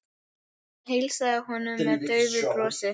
Hún heilsaði honum með daufu brosi.